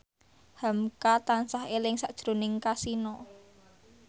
hamka tansah eling sakjroning Kasino